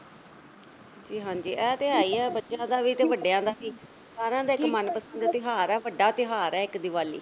ਹਾਂਜੀ-ਹਾਂਜੀ ਐ ਤੇ ਹੈਗਾ ਬੱਚਿਆਂ ਦਾ ਵੀ ਤੇ ਵੱਡਿਆਂ ਦਾ ਵੀ ਸਾਰਿਆਂ ਦਾ ਇੱਕ ਮਨਪਸੰਦ ਤਿਉਹਾਰ ਹੈ ਵੱਡਾ ਤਿਉਹਾਰ ਐ ਇੱਕ ਦੀਵਾਲੀ।